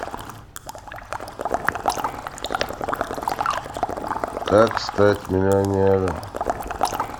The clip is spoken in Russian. как стать миллионером